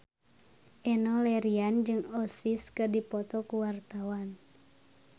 Enno Lerian jeung Oasis keur dipoto ku wartawan